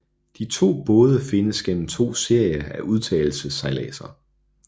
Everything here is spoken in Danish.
De to både findes gennem to serier af udtagelsessejladser